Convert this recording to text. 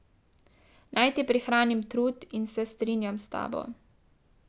Naj ti prihranim trud in se strinjam s tabo.